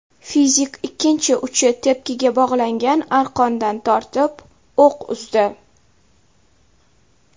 Fizik ikkinchi uchi tepkiga bog‘langan arqondan tortib, o‘q uzdi.